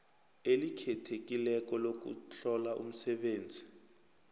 elikhethekileko lokuhlola umsebenzi